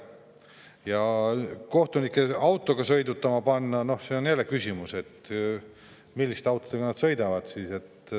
Ja kohtunikke autoga sõitma panna – siin on jälle küsimus, milliste autodega nad sõidavad.